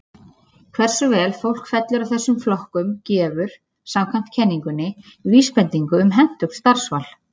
Hversu vel fólk fellur að þessum flokkum gefur, samkvæmt kenningunni, vísbendingu um hentugt starfsval.